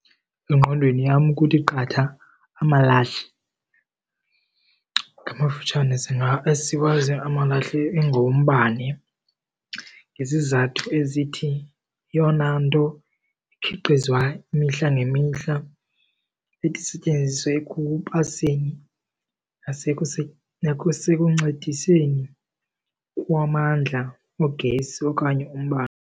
Engqondweni yam kuthi qatha amalahle. Ngamafutshane siwazi amalahle ingowombane ngezizathu ezithi yeyona nto ikhiqizwa imihla nemihla ethi isetyenziswe ekubaseni nasekuncediseni kwamandla ogesi okanye umbane.